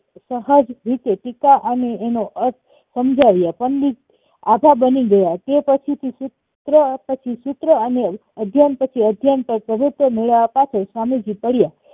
સહજ રીતે ટીકા અને તેનો અર્થ સમજાવ્યા પંડિત આભા બની ગયા તે પછી થી સૂત્ર અને અધ્યન મળ્યા પાછળ સ્વામીજી પડ્યા